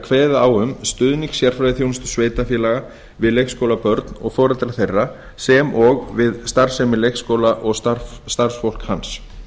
kveðið á um stuðning sérfræðiþjónustu sveitarfélaga við leikskólabörn og foreldra þeirra sem og við starfsemi leikskóla og starfsfólk hans